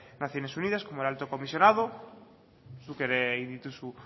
naciones unidas como el alto comisionado zuk ere egin dituzu